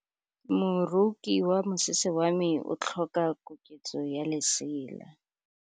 Moroki wa mosese wa me o tlhoka koketsô ya lesela.